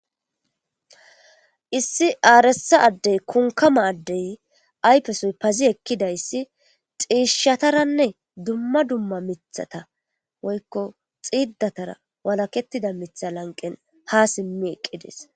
Issi aaresa addey kunkama addey aypesoy pazi ekkidayssi xiishshataranne dumma dumma mithata woykko xiiddatara walaketida mitha lanqen ha simmi eqqidees.